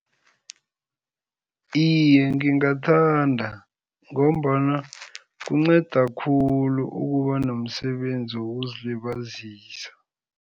Iye, ngingathanda ngombana kunceda khulu ukuba nomsebenzi wokuzilibazisa.